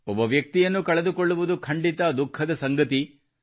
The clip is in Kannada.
ಒಬ್ಬ ವ್ಯಕ್ತಿಯನ್ನು ಕಳೆದುಕೊಳ್ಳುವುದು ಖಂಡಿತ ದುಃಖದ ಸಂಗತಿ